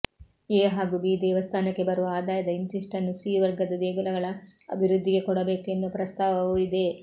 A ಹಾಗೂ B ದೇವಸ್ಥಾನಕ್ಕೆ ಬರುವ ಆದಾಯದ ಇಂತಿಷ್ಟನ್ನು ಸಿ ವರ್ಗದ ದೇಗುಲಗಳ ಅಭಿವೃದ್ಧಿಗೆ ಕೊಡಬೇಕು ಎನ್ನುವ ಪ್ರಸ್ತಾವವೂ ಇದೆ